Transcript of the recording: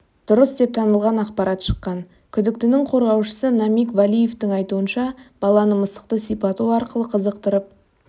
дұрыс деп танылған ақпарат шыққан күдіктінің қорғаушысы намиг валиевтің айтуынша баланы мысықты сипату арқылы қызықтырып